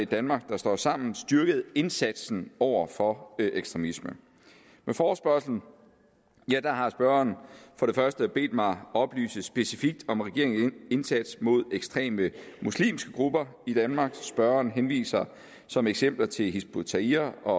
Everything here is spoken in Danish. danmark der står sammen styrket indsatsen over for ekstremisme med forespørgslen har spørgeren for det første bedt mig oplyse specifikt om regeringens indsats mod ekstreme muslimske grupper i danmark og spørgeren henviser som eksempler til hizb ut tahrir og